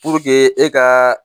e ka